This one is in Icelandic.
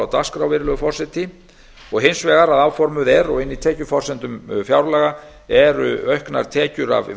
dagskrá virðulegur forseti og hins vegar að áformuð er og inni í tekjuforsendum fjárlaga eru auknar tekjur af